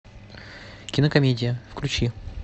кинокомедия включи